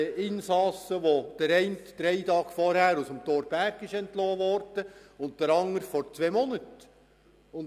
Von den Insassen wurde der eine vor drei Tagen aus dem Thorberg entlassen, der andere vor zwei Monaten.